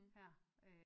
Her